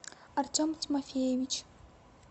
артем тимофеевич